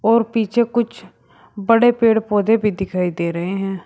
और पीछे कुछ बड़े पेड़ पौधे भी दिखाई दे रहे हैं।